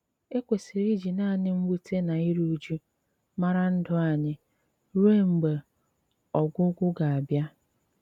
Ékwesírè íjì nánị mwùtè ná írú ụ̀jụ̀ márá ndụ́ ányị́ rùo mg̀bà ógwụ́gwụ́ gà-àbìá?